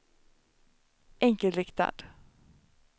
enkelriktad